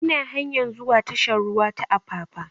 Ina hanyar zuwa tashar ruwa ta apapa